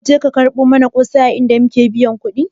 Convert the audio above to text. Zaka ka je ka barka mana kosai a inda muka biya kudi?